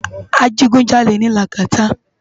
Ajigúnjálé ni Lagata